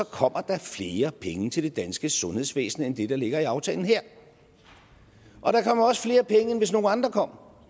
kommer der flere penge til det danske sundhedsvæsen end det der ligger i aftalen der kommer også flere penge end hvis nogle andre kom